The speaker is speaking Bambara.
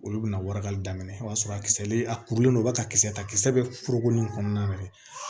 Olu bɛna warakali daminɛ o y'a sɔrɔ a kisɛlen a kurulen don u b'a ka kisɛ ta kisɛ bɛ foroko nin kɔnɔna na de